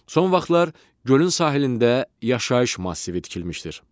Son vaxtlar gölün sahilində yaşayış massivi tikilmişdir.